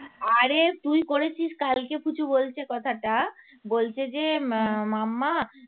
আরে তুই করেছিস কালকে পুচু বলছে কথাটা বলছে যে উম momma